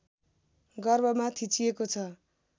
गर्भमा थिचिएको छ